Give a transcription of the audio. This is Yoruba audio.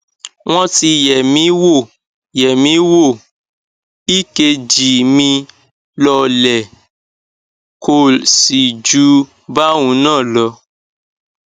wọn ti yẹ mí wò yẹ mí wò ekg mi lọọlẹ kol sì ju báhun náà lọ